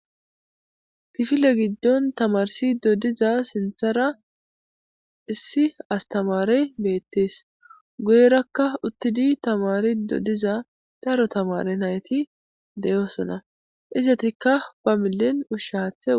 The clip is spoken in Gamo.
kifile giddon tamarsi dodiza sinthara issi astamare beettees goyrakka uttidi tamari doddiza daaro tamare nayti deyoosona izetikka ba millen ushshaathe